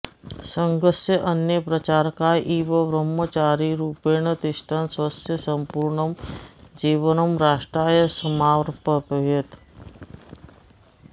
सङ्घस्य अन्ये प्रचारकाः इव ब्रह्मचारिरूपेण तिष्ठन् स्वस्य सम्पूर्णं जीवनं राष्ट्राय समार्पयत्